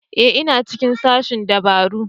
Ee ina cikin sashen dabaru